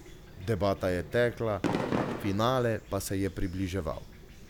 Debata je tekla, finale pa se je približeval.